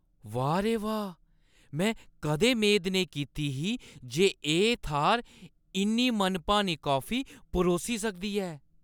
वाह् रे वाह्! में कदें मेद नेईं कीती ही जे एह् थाह्‌र इन्नी मनभानी कॉफी परोसी सकदी ऐ।